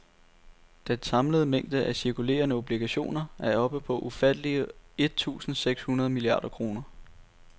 Den samlede mængde af cirkulerende obligationer er oppe på ufattelige et tusinde seks hundrede milliarder kroner.